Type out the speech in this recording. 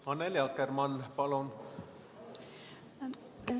Annely Akkermann, palun!